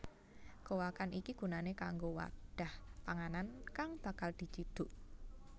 Gowakan iki gunané kanggo wadhah panganan kang bakal dicidhuk